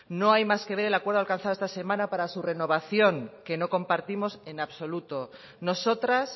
no hay más que ver el acuerdo alcanzado esta semana para su renovación que no compartimos en absoluto nosotras